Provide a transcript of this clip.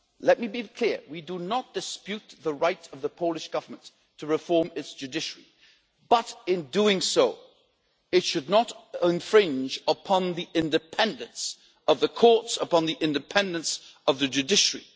Let me be clear we do not dispute the right of the Polish Government to reform its judiciary, but in doing so, it should not infringe upon the independence of the courts, upon the independence of the judiciary.